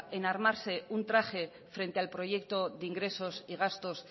en armarse un traje frente al proyecto de ingresos y gastos